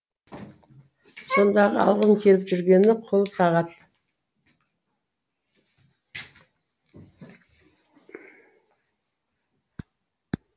сондағы алғым келіп жүргені қолсағат